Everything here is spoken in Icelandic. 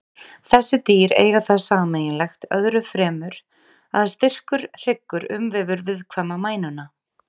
Þessi dýr eiga það sameiginlegt öðru fremur að styrkur hryggur umvefur viðkvæma mænuna.